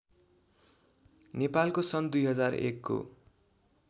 नेपालको सन् २००१ को